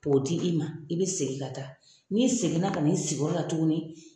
P'o di i ma, i bɛ segin ka taa. N'i seginna kan'i sigiyɔrɔ la tuguni